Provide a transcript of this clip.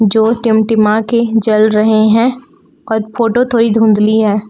जो टिमटिमा के जल रहे हैं फोटो थोड़ी धुंधली है।